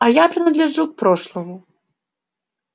а я принадлежу к прошлому